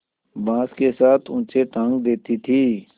बाँस के साथ ऊँचे टाँग देती थी